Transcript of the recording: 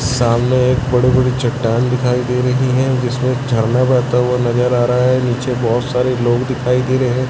सामने एक बड़े बड़े चट्टान दिखाई दे रही है जिसमें झरना बहता हुआ नजर आ रहा है नीचे बहोत सारे लोग दिखाई दे रहे हैं।